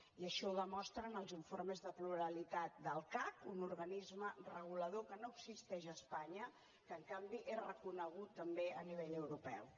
i així ho demostren els informes de pluralitat del cac un organisme regulador que no existeix a espanya que en canvi és reconegut també a nivell europeu